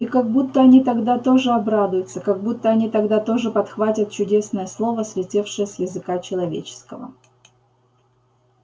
и как будто они тогда тоже обрадуются как будто они тогда тоже подхватят чудесное слово слетевшее с языка человеческого